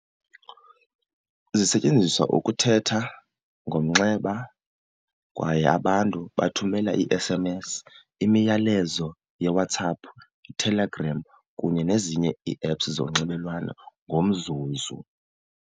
Zisetyenziswa ukuthetha ngomnxeba kwaye abantu bathumele ii-S_M_S, imiyalezo yeWhatsApp, Telegram kunye nezinye ii-apps zonxibelelwano ngomzuzu.